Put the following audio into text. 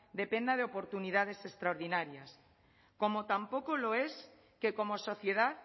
dependa de oportunidades extraordinarias como tampoco lo es que como sociedad